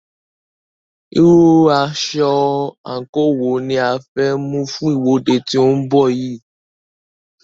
Irú aṣọ/àǹkò wo ni a fẹ́ mú fún ìwọ́de tí ó ń bọ̀ yìí?